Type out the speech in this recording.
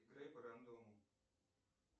играй по рандому